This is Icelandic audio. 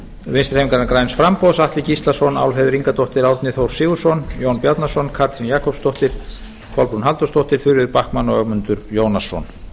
vinstri hreyfingarinnar græns framboðs atli gíslason álfheiður ingadóttir árni þór sigurðsson jón bjarnason katrín jakobsdóttir kolbrún halldórsdóttir þuríður backman og ögmundur jónasson